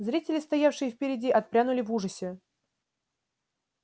зрители стоявшие впереди отпрянули в ужасе